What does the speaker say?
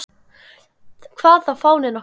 Hvað þá fáninn okkar.